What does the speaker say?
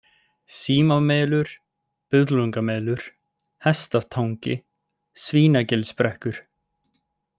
Símamelur, Buðlungamelur, Hestatangi, Svínagilsbrekkur